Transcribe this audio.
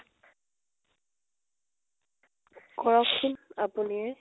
কৰক চোন আপুনিয়েই